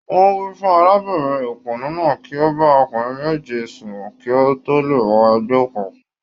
Wọ́n wí fún arábìnrin òpònú náà kí ó bá ọkùnrin méje sùn kí ó tó lè wọ ẹgbẹ́ òkùnkùn.